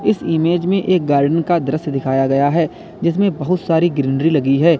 इस इमेज में एक गार्डन का दृश्य दिखाया गया है जिसमें बहुत सारी ग्रीनरी लगी है।